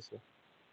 cayayaan